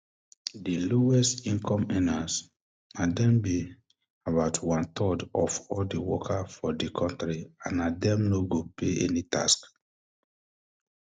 di lowest um income earners na dem be about onethird of all um di workers for di kontri and na dem no go pay any tax